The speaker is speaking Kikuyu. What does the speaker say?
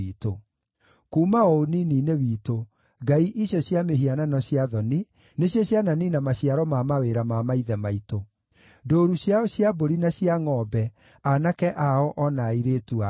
Kuuma o ũnini-inĩ witũ, ngai icio cia mĩhianano cia thoni nĩcio ciananiina maciaro ma mawĩra ma maithe maitũ: ndũũru ciao cia mbũri na cia ngʼombe, aanake ao na airĩtu ao.